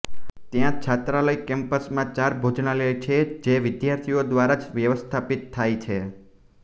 ત્યાં છાત્રાલય કેમ્પસમાં ચાર ભોજનાલય છે જે વિદ્યાર્થીઓ દ્વારા જ વ્યવસ્થાપિત થાય છે